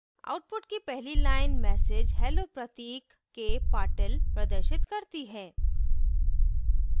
output की पहली line message hello pratik k patil प्रदर्शित करती है